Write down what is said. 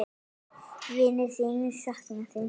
Vinir þínir sakna þín sárt.